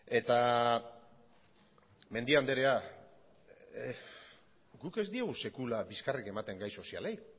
eta mendia andrea guk ez diogu sekula bizkarrik ematen gai sozialei